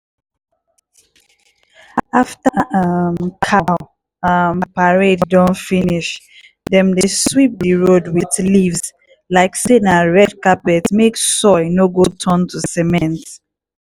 after um cow um parade don finish dem dey sweep di road with leaves like say na red carpet mek soil no go turn to cement.